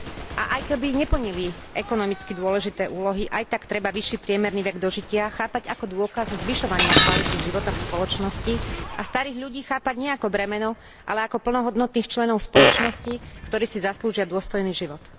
A aj keby neplnili ekonomicky dôležité úlohy, aj tak treba vyšší priemerný vek dožitia chápať ako dôkaz zvyšovania kvality života v spoločnosti a starých ľudí chápať nie ako bremeno, ale ako plnohodnotných členov spoločnosti, ktorí si zaslúžia dôstojný život.